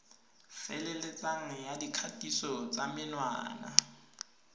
feleletseng ya dikgatiso tsa menwana